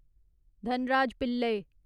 Dhanraj Pillay